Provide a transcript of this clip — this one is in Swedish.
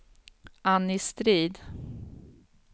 Annie Strid